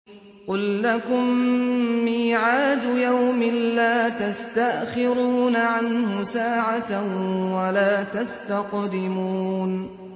قُل لَّكُم مِّيعَادُ يَوْمٍ لَّا تَسْتَأْخِرُونَ عَنْهُ سَاعَةً وَلَا تَسْتَقْدِمُونَ